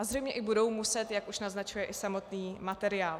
A zřejmě i budou muset, jak už naznačuje i samotný materiál.